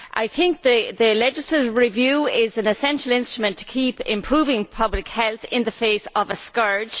I think the legislative review is an essential instrument to keep improving public health in the face of a scourge.